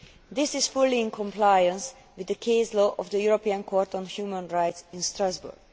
This is fully in compliance with the case law of the European Court of Human Rights in Strasbourg.